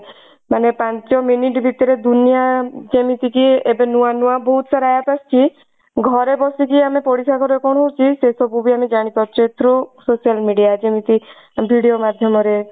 ମାନେ ପାଞ୍ଚ minute ଭିତରେ ଦୁନିଆ ଯେମିତି କି ଏବେ ନୂଆ ନୂଆ ବହୁତ ସାରା app ଆସୁଛି ଘରେ ବସିକି ଆମେ ପଡିସା ଘରେ କଣ ହଉଛି ସେସବୁ ବି ଆମେ ଜାଣି ପାରୁଛେ through ଯେମିତି video ମାଧ୍ୟମ ରେ